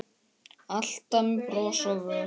Alltaf með bros á vör.